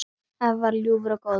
Afi var ljúfur og góður.